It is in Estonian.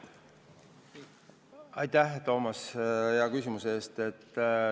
Aitäh, Toomas, hea küsimuse eest!